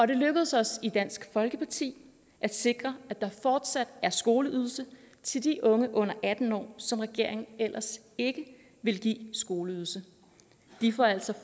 det lykkedes os i dansk folkeparti at sikre at der fortsat er skoleydelse til de unge under atten år som regeringen ellers ikke ville give skoleydelse de får altså